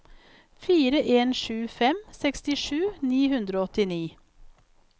fire en sju fem sekstisju ni hundre og åttini